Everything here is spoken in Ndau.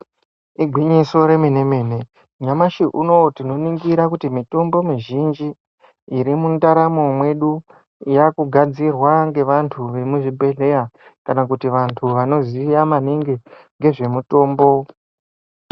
Igwinyiso remene mene nyamashi unou tinoningira kuti mitombo mizhinji irimundaramo mwedu yakugadzirwa ngevantu vemuzvibhedhleya kana kuti vantu vanoziya maningi ngezvemutombo.